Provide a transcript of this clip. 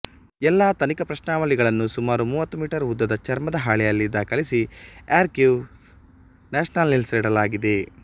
ಎಲ್ಲಾ ತನಿಖಾ ಪ್ರಶ್ನಾವಳಿಗಳನ್ನು ಸುಮಾರು ಮೂವತ್ತು ಮೀಟರ್ ಉದ್ದದ ಚರ್ಮದ ಹಾಳೆಯಲ್ಲಿ ದಾಖಲಿಸಿಆರ್ಕಿವ್ಸ್ ನ್ಯಾಶನೇಲ್ಸ್ನಲ್ಲಿಡಲಾಗಿದೆ